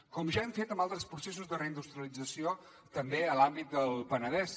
com ja hem fet amb altres processos de reindustrialització també a l’àmbit del penedès